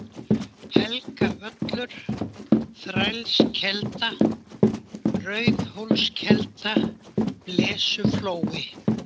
Helgavöllur, Þrælskelda, Rauðhólskelda, Blesuflói